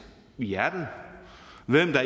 i hjertet hvem der